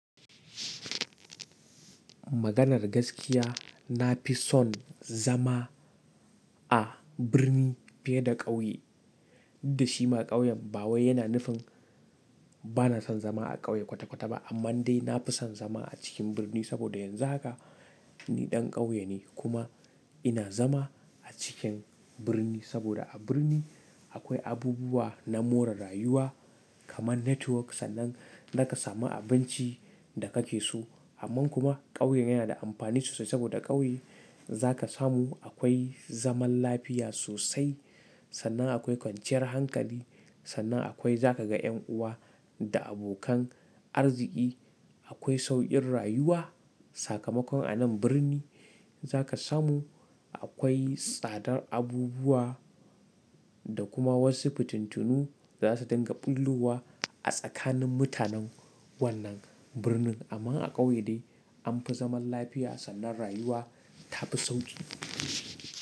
Maganar gaskiya na fi son zama a birni fiye da ƙauye. Dashi ma ƙauyen ba wai yana nufin ba na son zama a ƙauye kwata-kwata ba, amma dai na fi son zama a cikin birni saboda yanzu haka ni ɗan ƙauye ne kuma ina zama a cikin birni saboda a birni akwai abubuwa na more rayuwa kamar network sannan zaka samu abinci da kake so. Amma kuma ƙauye yana da amfani sosai saboda ƙauye zaka samu akwai zaman lafiya sosai sannan akwai kwanciyar hankali sannan akwai zaka ga ƴan uwa da abokan arziki. Akwai sauƙin rayuwa. Sakamakon a nan birni zaka samu akwai tsadar abubuwa da kuma wasu fitintunu da za su dinga ɓullowa a tsakanin mutanen wannan birnin. Amma a ƙauye dai an fi zaman lafiya sannan rayuwa ta fi sauƙi.